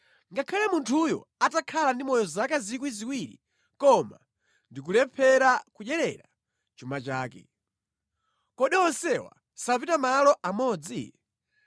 ngakhale munthuyo atakhala ndi moyo zaka 2,000, koma ndi kulephera kudyerera chuma chake. Kodi onsewa sapita malo amodzi?